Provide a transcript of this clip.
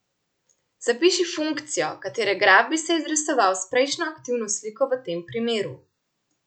Zapiši funkcijo, katere graf bi se izrisoval s prejšnjo aktivno sliko v tem primeru.